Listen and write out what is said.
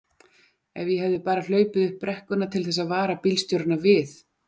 Ef ég hefði bara hlaupið upp brekkuna til þess að vara bílstjórana við!